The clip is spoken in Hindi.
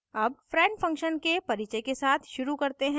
अब friend function के परिचय के साथ शुरू करते हैं